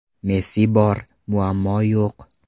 Messi bor, muammo yo‘q.